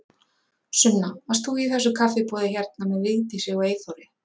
Sunna: Varst þú í þessu kaffiboði hérna með Vigdísi og Eyþóri?